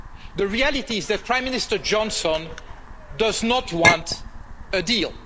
The reality is that Prime Minister Johnson does not want a deal.